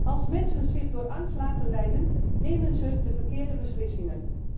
Als mensen zich door angst laten leiden, nemen ze de verkeerde beslissingen.